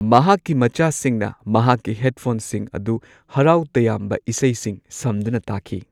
ꯃꯍꯥꯛꯀꯤ ꯃꯆꯥꯁꯤꯡꯅ ꯃꯍꯥꯛꯀꯤ ꯍꯦꯗꯐꯣꯟꯁꯤꯡ ꯑꯗꯨ ꯍꯔꯥꯎ ꯇꯌꯥꯝꯕ ꯏꯁꯩꯁꯤꯡ ꯁꯝꯗꯨꯅ ꯇꯥꯈꯤ꯫